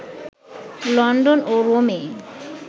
London ও রোমে